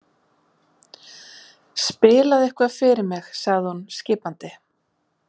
Spilaðu eitthvað fyrir mig sagði hún skipandi.